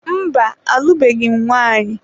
Mba, alụbeghị m nwanyị.